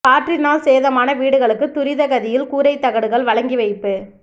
காற்றினால் சேதமான வீடுகளுக்கு துரித கதியில் கூரைத் தகடுகள் வழங்கி வைப்பு